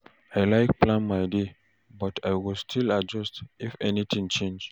I like plan my day, but I go still adjust if anything change.